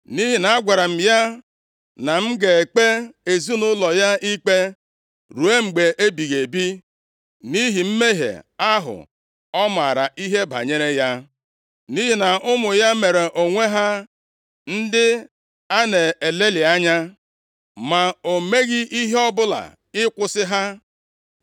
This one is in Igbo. Nʼihi na agwara m ya na m ga-ekpe ezinaụlọ ya ikpe, ruo mgbe ebighị ebi, nʼihi mmehie ahụ ọ maara ihe banyere ya. Nʼihi na ụmụ ya mere onwe ha ndị a na-elelị anya, + 3:13 \+xt 1Sa 2:12,17,22\+xt* ma o meghị ihe ọbụla ịkwụsị ha.